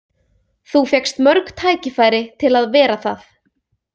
Þú fékkst mörg tækifæri til að vera það.